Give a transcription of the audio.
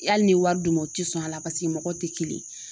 Hali n'i y'i wari d'u ma o tɛ sɔn a la paseke mɔgɔw tɛ kelen.